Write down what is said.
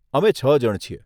અમે છ જણ છીએ.